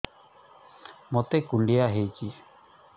ମୋତେ କୁଣ୍ଡିଆ ହେଇଚି